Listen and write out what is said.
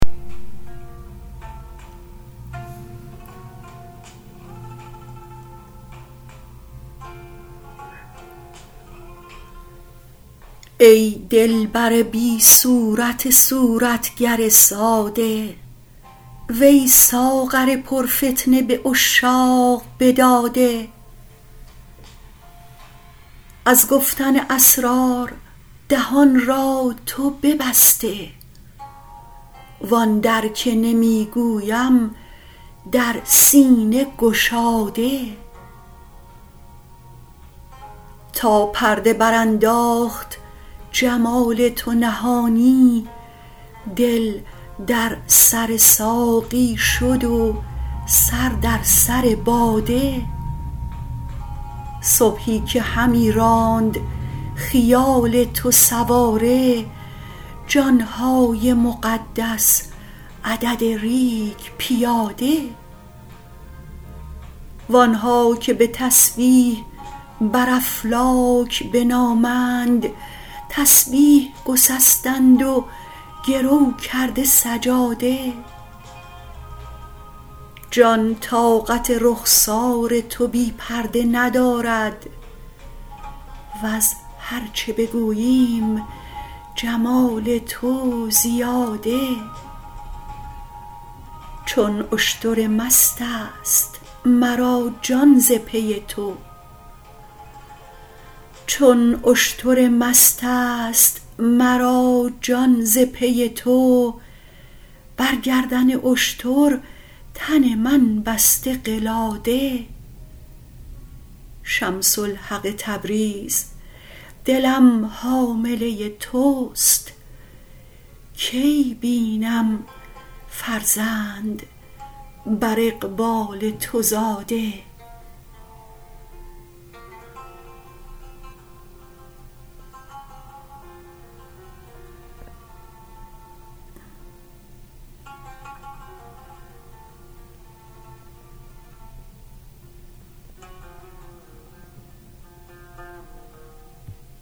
ای دلبر بی صورت صورتگر ساده وی ساغر پرفتنه به عشاق بداده از گفتن اسرار دهان را تو ببسته و آن در که نمی گویم در سینه گشاده تا پرده برانداخت جمال تو نهانی دل در سر ساقی شد و سر در سر باده صبحی که همی راند خیال تو سواره جان های مقدس عدد ریگ پیاده و آن ها که به تسبیح بر افلاک بنامند تسبیح گسستند و گرو کرده سجاده جان طاقت رخسار تو بی پرده ندارد وز هر چه بگوییم جمال تو زیاده چون اشتر مست است مرا جان ز پی تو بر گردن اشتر تن من بسته قلاده شمس الحق تبریز دلم حامله توست کی بینم فرزند بر اقبال تو زاده